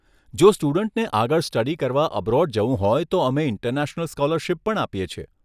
જો સ્ટુડન્ટને આગળ સ્ટડી કરવા અબ્રોડ જવું હોય તો અમે ઇન્ટરનેશનલ સ્કૉલરશીપ પર આપીએ છીએ.